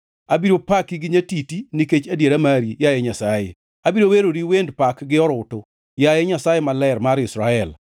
Abiro paki gi nyatiti nikech adiera mari, yaye Nyasaye; abiro weroni wend pak gi orutu, yaye Nyasaye Maler mar Israel.